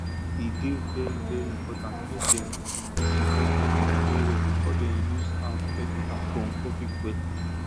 e dey very very important make dem disinfect bucket well well before dem use am fetch water from public well